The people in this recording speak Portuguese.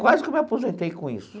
Quase que eu me aposentei com isso.